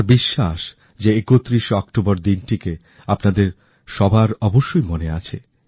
আমার বিশ্বাস যে ৩১শে অক্টোবর দিনটিকেআপনাদের সবার অবশ্যই মনে আছে